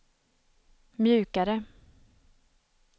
mjukare